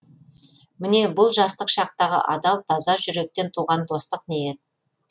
міне бұл жастық шақтағы адал таза жүректен туған достық ниет